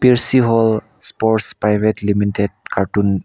peercihole sports private limited carton .